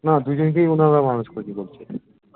না দুজনকেই মনে হয় ওরা মানুষ করেছে বলছে